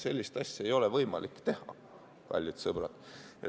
Sellist asja ei ole võimalik teha, kallid sõbrad!